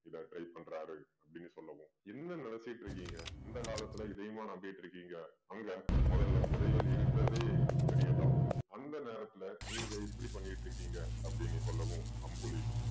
இதை try பண்றாரு அப்படீன்னு சொல்லவும் என்ன நினைச்சுக்கிட்டிருக்கீங்க? இந்த காலத்துல இதையுமா நம்பிட்டிருக்கீங்க. அங்க முதல்ல புதையல் இருக்கிறதே பெரிய doubt அந்த நேரத்துல நீங்க இப்படி பண்ணீட்டிருக்கீங்க அப்படீன்னு சொல்லவும் அம்புலி